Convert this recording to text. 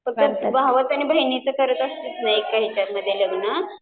पण भावाचं आणि बहिणीचं करत असतील ना एकाच हेच्यात लग्न